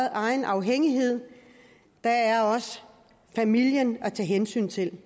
egen afhængighed der er også familien at tage hensyn til